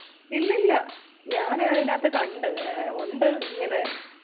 ഇല്ലില്ല ഞാൻ അതിനകത്ത് കണ്ട് ഉണ്ട് ഇങ്ങനെ